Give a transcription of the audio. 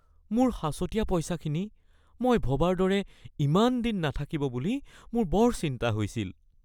মোৰ সাঁচতীয়া পইচাখিনি মই ভবাৰ দৰে ইমান দিন নাথাকিব বুলি মোৰ বৰ চিন্তা হৈছিল